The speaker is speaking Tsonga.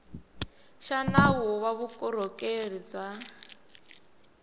xa nawu wa vukorhokeri bya